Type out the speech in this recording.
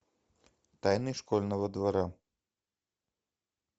тайны школьного двора